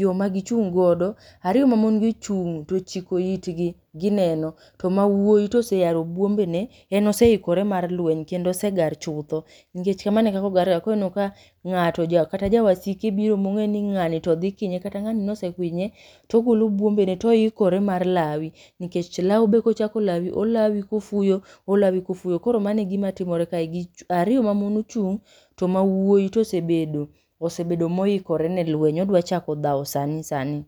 yo ma gichung' godo, ariyo ma mon gi ochung' to ochiko itgi, gineno to ma woui to oseyaro buombene en oseikore mar lweny kendo osegar chutho. Nikech kamano ekaka ogar ga ka oneno ka ng'ato kata jawasike biro mong'eni ng'ani to dhi kinye kata ng'ani nosekwinye, to ogolo buombe ne to oikre mar lawi. Nikech law be ka ochaki lawi olawi ka ofuyo, olawi kofuyo. Koro mano e gima timore kae gichu ariyo ma mon ochung' to ma wuoi to osebedo osebedo moikore ne lweny odwa chako dhoa sani sani.